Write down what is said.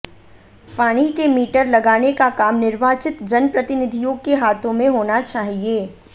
पानी के मीटर लगाने का काम निर्वाचित जन प्रतिनिधियों के हाथों में होना चाहिए